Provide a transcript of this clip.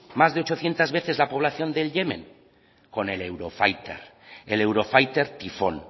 más de ochocientos veces la población del yemen con el eurofighter el eurofighter tifón